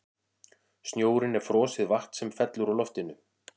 Snjórinn er frosið vatn sem fellur úr loftinu.